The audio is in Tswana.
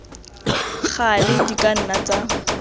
gale di ka nna tsa